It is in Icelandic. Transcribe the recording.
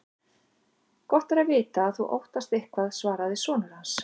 Gott er að vita að þú óttast eitthvað, svaraði sonur hans.